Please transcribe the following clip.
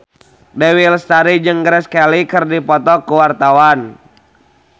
Dewi Lestari jeung Grace Kelly keur dipoto ku wartawan